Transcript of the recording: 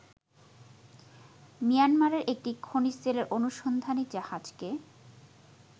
মিয়ানমারের একটি খনিজতেল অনুসন্ধানী জাহাজকে